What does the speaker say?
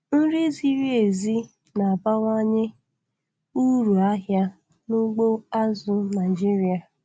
Nri ziri ezi na-abawanye uru ahịa n'ugbo azụ̀ Naịjiria.